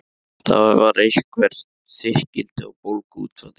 Þar var eitthvert þykkildi og bólga út frá því.